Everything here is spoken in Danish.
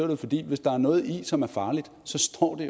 jo fordi at hvis der er noget i som er farligt så står det